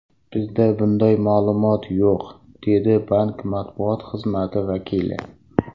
Bizda bunday ma’lumot yo‘q”, dedi bank matbuot xizmati vakili.